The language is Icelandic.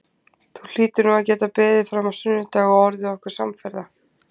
Þú hlýtur nú að geta beðið fram á sunnudag og orðið okkur samferða